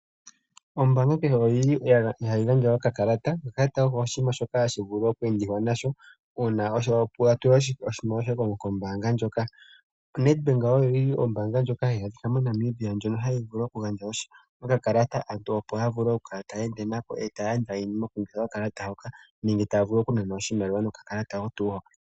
Ombaanga kehe ohayi gandja okakalata. Okakalata oko oshinima shoka hashi vulu oku endiwa nasho, uuna wa tula oshimaliwa kombaanga yoye hoka. Nedbank ombaanga ndjoka hayi adhika moNamibia, hayi vulu okugandja okakalata aantu opo ya vule oku enda nako e taya landa iinima okulongitha okakalata hoka nenge taya vulu okunana oshimaliwa nokakalata oko tuu hoka.